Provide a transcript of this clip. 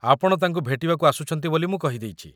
ଆପଣ ତାଙ୍କୁ ଭେଟିବାକୁ ଆସୁଛନ୍ତି ବୋଲି ମୁଁ କହିଦେଇଚି ।